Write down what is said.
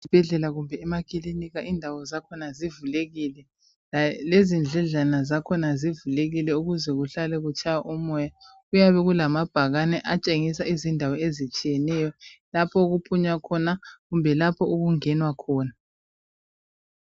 Ezibhedlela kumbe emakilinika indawo zakhona zivulekile, lezindledlana zakhona zivulekile ukuze kutshaye umoya kuyabe kulama bhakane atshengisa lapho okuphunywa khona lalapho okungenwa khona